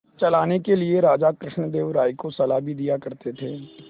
चलाने के लिए राजा कृष्णदेव राय को सलाह भी दिया करते थे